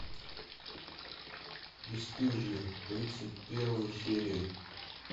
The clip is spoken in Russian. бесстыжие тридцать первая серия